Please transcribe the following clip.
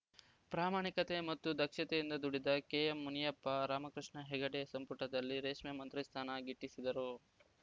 ಪ್ರಾಮಾಣಿಕತೆ ಮತ್ತು ದಕ್ಷತೆಯಿಂದ ದುಡಿದ ಕೆಎಂಮುನಿಯಪ್ಪ ರಾಮಕೃಷ್ಣ ಹೆಗ್ಗಡೆ ಸಂಪುಟದಲ್ಲಿ ರೇಷ್ಮೆ ಮಂತ್ರಿ ಸ್ಥಾನ ಗಿಟ್ಟಿಸಿದರು